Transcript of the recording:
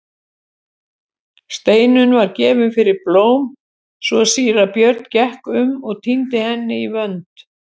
Steinunn var gefin fyrir blóm svo síra Björn gekk um og tíndi henni í vönd.